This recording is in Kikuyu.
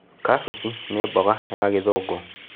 Kabici nĩ mboga ya gĩthũngũ.